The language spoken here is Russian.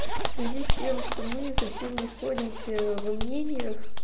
в связи с тем что мы совсем не сходимся во мнениях